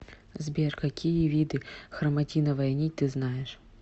сбер какие виды хроматиновая нить ты знаешь